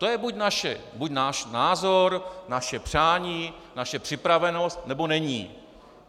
To je buď náš názor, naše přání, naše připravenost, nebo není.